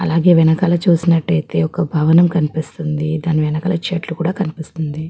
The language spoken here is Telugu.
అలాగే వెనకాల చూసినట్టు అయితే ఒక భవనం కనిపిస్తుంది. దాని వెనకాల చెట్టు కూడా కనిపిస్తుంది.